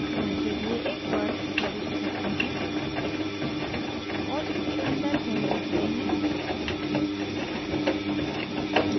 घर के लिए एक वर्ग प्रविष्ट करते हैं और इसके अंदर home लिखते हैं